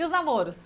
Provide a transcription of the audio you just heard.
E os namoros?